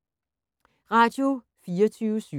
Radio24syv